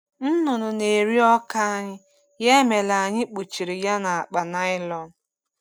Nnụnụ na-eri ọka anyị, ya mere anyị kpuchiri ya na akpa nylon.